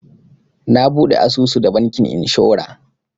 Na buɗe asusu da bankin inshora.